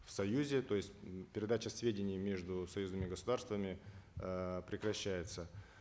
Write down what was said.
в союзе то есть передача сведений между союзными государствами эээ прекращается